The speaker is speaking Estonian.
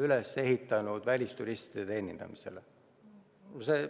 üles ehitanud välisturistide teenindamisele.